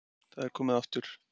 Það er komið á aftur.